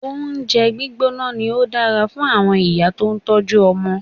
Oúnjẹ gbígbóná ni ó dára fún àwọn ìyá tó ń tọ́jú ọmọ.